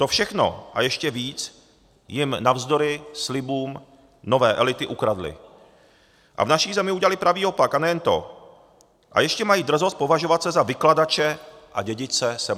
To všechno a ještě víc jim navzdory slibům nové elity ukradly a v naší zemi udělaly pravý opak a nejen to, a ještě mají drzost považovat se za vykladače a dědice 17. listopadu.